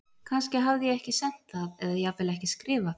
Kannski hafði ég ekki sent það eða jafnvel ekki skrifað það.